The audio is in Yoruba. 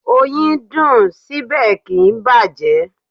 Oyin dùn, síbẹ̀ kì ń bàjẹ́.